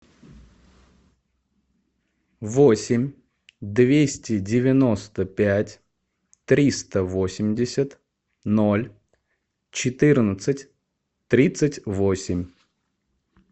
восемь двести девяносто пять триста восемьдесят ноль четырнадцать тридцать восемь